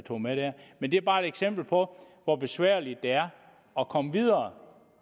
tog med her men det er bare et eksempel på hvor besværligt det er at komme videre